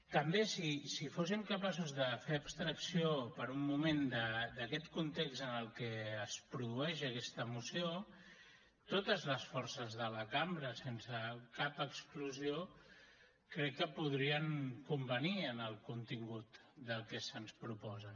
també si fóssim capaços de fer abstracció per un moment d’aquest context en el que es produeix aquesta moció totes les forces de la cambra sense cap exclusió crec que podrien convenir en el contingut del que se’ns proposa